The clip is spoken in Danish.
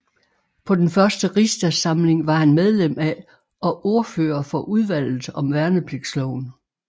På den første rigsdagssamling var han medlem af og ordfører for udvalget om Værnepligtsloven